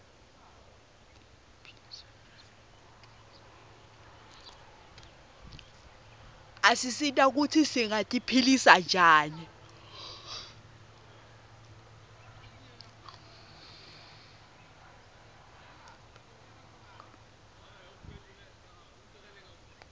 asisita sati kutsi singati philisa njani